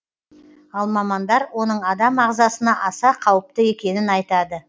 ал мамандар оның адам ағзасына аса қауіпті екенін айтады